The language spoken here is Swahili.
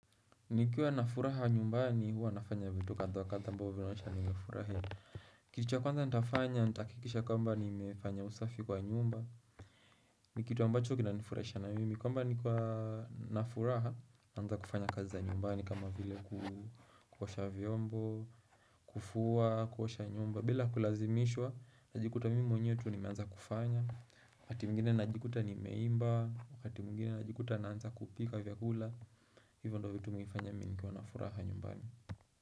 Nikiwa na furaha nyumbani huwa nafanya vitu kadha wa kadha ambao vinaonyesha nimefurahi Kitu cha kwanza nitafanya, nitahakikisha kwamba nimefanya usafi kwa nyumba ni kitu ambacho kinanifurahisha na mimi kwamba nikiwa na furaha, naanza kufanya kazi za nyumbani kama vile kuosha vyombo, kufua, kuosha nyumba bila kulazimishwa, najikuta mimi mwenyewe tu nimeanza kufanya wakati mwengine najikuta nimeimba wakati mwengine najikuta naanza kupika vyakula hivyo ndo vitu mimi hufanya nikiwa na furaha nyumbani.